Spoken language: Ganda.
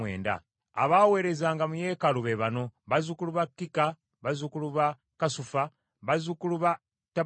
Abaaweerezanga mu yeekaalu be bano: bazzukulu ba Zika, bazzukulu ba Kasufa, bazzukulu ba Tabbawoosi,